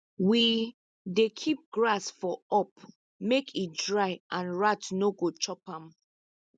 we dey keep grass for up make e dry and rat no go chop am